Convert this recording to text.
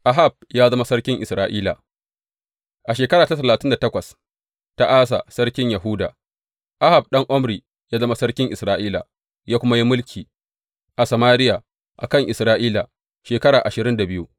Ahab ya zama sarkin Isra’ila A shekara ta talatin da takwas ta Asa sarkin Yahuda, Ahab ɗan Omri ya zama sarkin Isra’ila, ya kuma yi mulki a Samariya a kan Isra’ila, shekara ashirin da biyu.